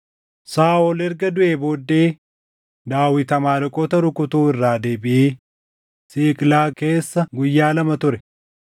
Saaʼol erga duʼee booddee, Daawit Amaaleqoota rukutuu irraa deebiʼee Siiqlaag keessa guyyaa lama ture.